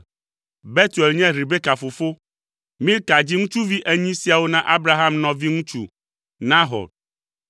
Betuel nye Rebeka fofo. Milka dzi ŋutsuvi enyi siawo na Abraham nɔvi ŋutsu, Nahor.